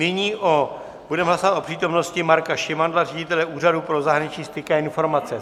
Nyní budeme hlasovat o přítomnosti Marka Šimandla, ředitele Úřadu pro zahraniční styky a informace.